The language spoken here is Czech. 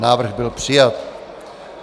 Návrh byl přijat.